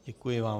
Děkuji vám.